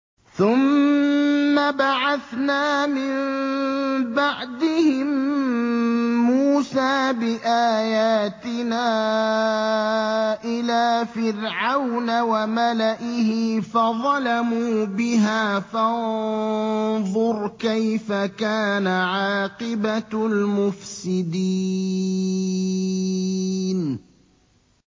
ثُمَّ بَعَثْنَا مِن بَعْدِهِم مُّوسَىٰ بِآيَاتِنَا إِلَىٰ فِرْعَوْنَ وَمَلَئِهِ فَظَلَمُوا بِهَا ۖ فَانظُرْ كَيْفَ كَانَ عَاقِبَةُ الْمُفْسِدِينَ